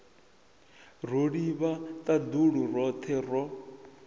ro livha ṱaḓulu roṱhe ro